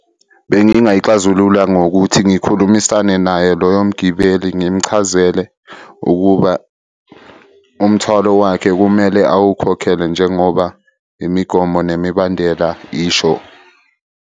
Bengingayixazulula ngokuthi ngikhulumisane naye loyo mgibeli ngimuchazele ukuba umthwalo wakhe kumele awukhokhele njengoba imigomo nemibandela isho.